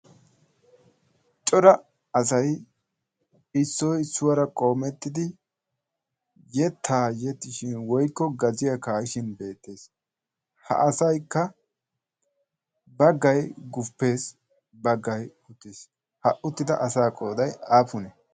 cora asay issoy issuwaara qoomettidi yettaa yexxishin woykko gaziyaa kaa7ishin beettees. ha asaykka baggay guppees baggay uttees. ha uttida asaa qooday aappune?